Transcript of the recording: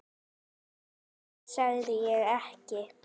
Hvað sagði ég ekki?